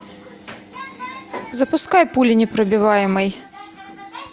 запускай пуленепробиваемый